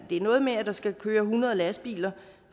er noget med at der skal køre hundrede lastbiler